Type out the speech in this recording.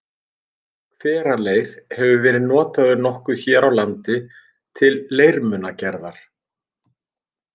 Hveraleir hefur verið notaður nokkuð hér á landi til leirmunagerðar.